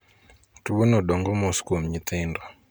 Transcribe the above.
Tuo no dong'o mos kuom nyithindo.